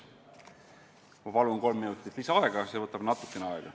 Ma palun kolm minutit lisaaega – see võtab natukene aega!